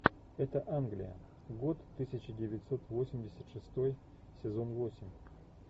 это англия год тысяча девятьсот восемьдесят шестой сезон восемь